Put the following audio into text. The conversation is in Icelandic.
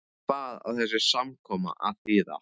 Hvað á þessi samkoma að þýða.